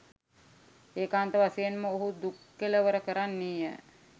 ඒකාන්ත වශයෙන් ඔහු දුක් කෙළවර කරන්නේ ය.